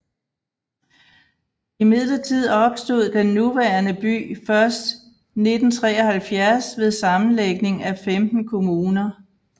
Imidlertid opstod den nuværende by først 1973 ved sammenlægning af 15 kommuner